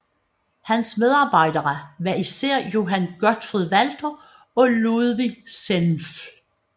Hans medarbejdere var især Johann Gottfried Walther og Ludwig Senfl